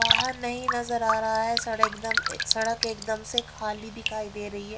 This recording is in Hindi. बाहर नहीं नजर आ रहा है सड़ एकदम सड़क एकदम से खाली दिखाई दे रही है।